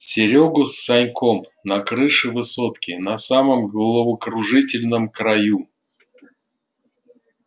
серёгу с саньком на крыше высотки на самом головокружительном краю